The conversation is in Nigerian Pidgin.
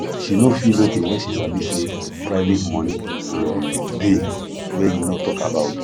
she no feel okay when she sabi say private money um dey wey e no talk about